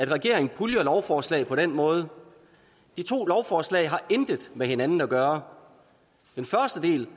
regeringen puljer lovforslag på den måde de to lovforslag har intet med hinanden at gøre den første del